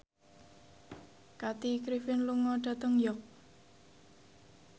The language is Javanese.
Kathy Griffin lunga dhateng York